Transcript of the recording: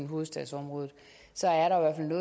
hovedstadsområdet